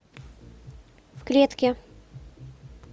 в клетке